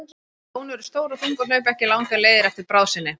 Ljón eru stór og þung og hlaupa ekki langar leiðir á eftir bráð sinni.